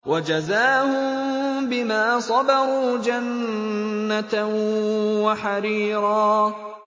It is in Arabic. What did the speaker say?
وَجَزَاهُم بِمَا صَبَرُوا جَنَّةً وَحَرِيرًا